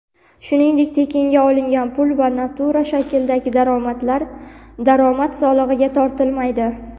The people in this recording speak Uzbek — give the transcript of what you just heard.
shuningdek tekinga olingan pul va natura shaklidagi daromadlar daromad solig‘iga tortilmaydi.